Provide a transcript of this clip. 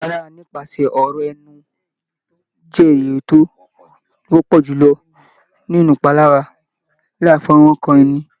Ìpalára nípasẹ̀ ọ̀rọ̀ ẹnu jẹ́ èyí tó wọ́pọ̀ jù lọ nínú ìpalára láì fí ọwọ́ kan ni.